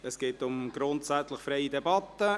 Es geht grundsätzlich um eine freie Debatte.